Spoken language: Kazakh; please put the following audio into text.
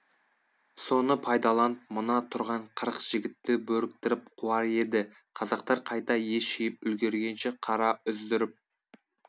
соны пайдаланып мына тұрған қырық жігітті бөріктіріп қуар еді қазақтар қайта ес жиып үлгіргенше қара үздіріп